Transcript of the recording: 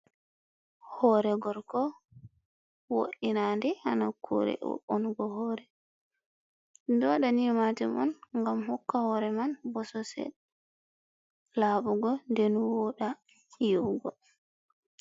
Hore gorko wo"inade hanakkure wo'ungo hore. ɗumɗo wada ni majum on ngam hokka hore man bosesel laɓugo nde woɗa yi’ugo.